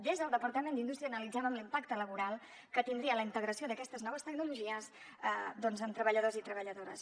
des del departament d’indústria analitzàvem l’impacte laboral que tindria la integració d’aquestes noves tecnologies doncs en treballadors i treballadores